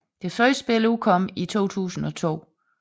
Det første spil udkom i 2002